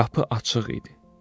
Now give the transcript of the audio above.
Qapı açıq idi.